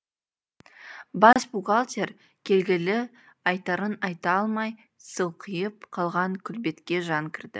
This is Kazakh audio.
бас бухгалтер келгелі айтарын айта алмай сылқиып қалған күлбетке жан кірді